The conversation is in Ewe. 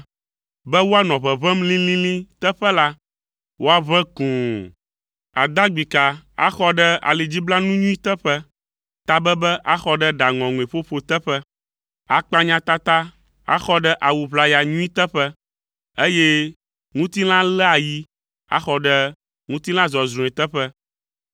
Be woanɔ ʋeʋẽm lĩlĩlĩ teƒe la, woaʋẽ kũu; adagbika axɔ ɖe alidziblanu nyui teƒe, tabebe axɔ ɖe ɖa ŋɔŋɔe ƒoƒo teƒe, akpanyatata axɔ ɖe awu ʋlaya, nyui teƒe, eye ŋutilãléayi axɔ ɖe ŋutilã zɔzrɔ̃e teƒe.